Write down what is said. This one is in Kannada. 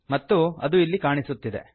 ಮತ್ತು ಇದು ಇಲ್ಲಿ ಕಾಣಿಸುತ್ತಿದೆ